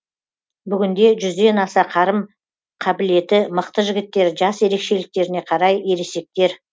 бүгінде жүзден аса қарым қабілеті мықты жігіттер жас ерекшеліктеріне қарай ересектер